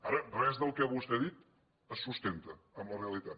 ara res del que vostè ha dit es sustenta en la realitat